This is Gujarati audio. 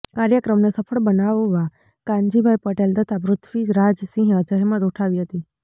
કાર્યક્રમને સફળ બનાવવા કાનજીભાઈ પટેલ તથા પૃથ્વિરાજસિંહે જહેમત ઉઠાવી હતી